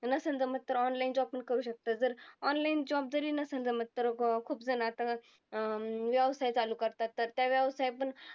नसन तर मग तर online job पण करू शकतात. जर online job जरी नसन जमत तर खुपजनात अं व्यवसाय चालू करतात, तर त्या व्यवसाय पण